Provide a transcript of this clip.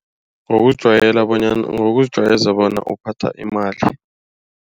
Ngokujwayela ngokuzijwayeza bona uphatha imali.